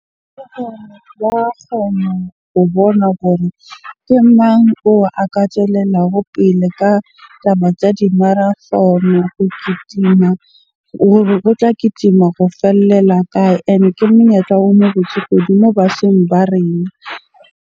Kgona ho bona hore ke mang oo a ka tswelelago pele ka taba tsa di-marathon-o, ho kitima. Hore o tla kitima go fellela kae? Ene ke monyetla o mo botse kudu moo batjheng ba rena.